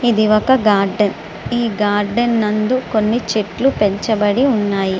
ఇది ఒక గార్డెన్ ఈ గార్డెన్ నందు కొన్ని చెట్లు పెంచబడి ఉన్నాయి.